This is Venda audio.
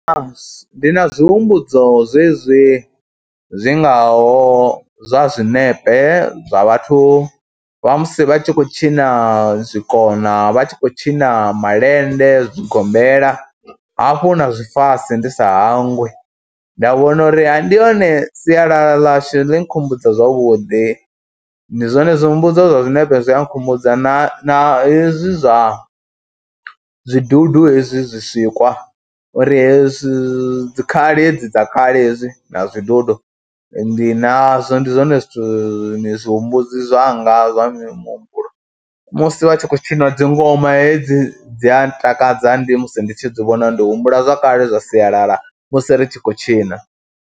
Ndi na zwi humbudzo zwezwi zwi ngaho zwa zwinepe zwa vhathu vha musi vha tshi khou tshina zwikona, vha tshi khou tshina malende, zwigombela hafhu na zwifasi ndi sa hangwi. Nda vhona uri ndi hone sialala ḽashu ḽi nkhumbudza zwavhuḓi, ndi zwone zwi humbudza zwine zwi a nkhumbudza na hezwi zwa zwidudu hezwi zwisikwa uri hezwi dzi khali hedzi dza kale hezwi na zwidudu ndi nazwo. Ndi zwone zwithu ni zwi humbudzi zwanga zwa muhumbulo musi vha tshi khou tshina dzi ngoma hedzi dzi a ntakadza ndi musi ndi tshi dzi vhona ndi humbula zwa kale zwa sialala musi ri tshi khou tshina.